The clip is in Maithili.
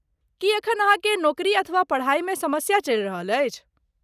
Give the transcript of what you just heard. की एखन अहाँकेँ नोकरी अथवा पढ़ाइ मे समस्या चलि रहल अछि?